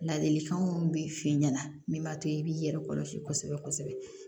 Ladilikan min bɛ f'i ɲɛna min b'a to i b'i yɛrɛ kɔlɔsi kosɛbɛ kosɛbɛ